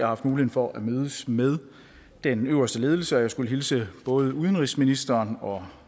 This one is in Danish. haft mulighed for at mødes med den øverste ledelse og jeg skulle hilse både udenrigsministeren og